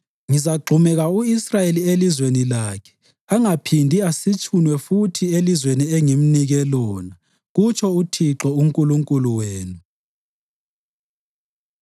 Ngizagxumeka u-Israyeli elizweni lakhe angaphindi asitshunwe futhi elizweni engimnike lona,” kutsho uThixo uNkulunkulu wenu.